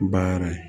Ba yɛrɛ ye